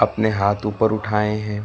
अपने हाथ ऊपर उठाए है।